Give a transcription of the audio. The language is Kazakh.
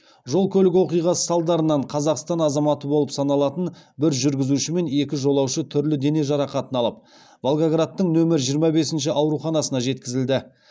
жол көлік оқиғасы салдарынан қазақстан азаматы болып саналатын бір жүргізуші мен екі жолаушы түрлі дене жарақатын алып волгоградтың нөмір жиырма бесінші ауруханасына жеткізілді